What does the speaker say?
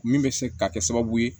Min bɛ se ka kɛ sababu ye